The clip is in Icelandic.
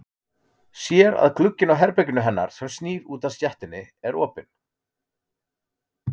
Sér að glugginn á herberginu hennar sem snýr út að stéttinni er opinn.